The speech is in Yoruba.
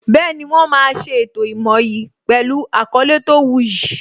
Bẹẹni, wọ́n máa ṣe ètò ìmoyì pẹlu àkọlé tó wu yì